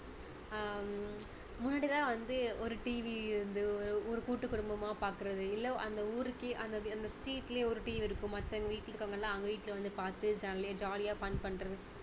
ஹம் முன்னாடி எல்லாம் வந்து ஒரு TV வந்து ஒரு கூட்டுக் குடும்பமா பாக்குறது இல்ல அந்த ஊருக்கே அந்த அந்த street லயே ஒரு TV இருக்கும் மத்தவங்க வீட்டுல இருக்கவங்க எல்லாம் அவங்க வீட்டுல வந்து பார்த்து jolly jolly யா fun பண்றது